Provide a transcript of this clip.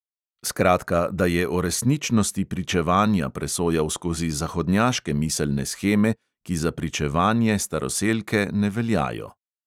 Skratka, da je o resničnosti pričevanja presojal skozi zahodnjaške miselne sheme, ki za pričevanje staroselke ne veljajo.